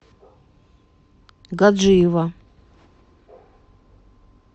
гаджиева